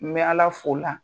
N bɛ ala f'o la